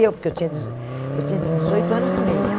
Eu, porque eu tinha dezo eu tinha dezoito anos e meio.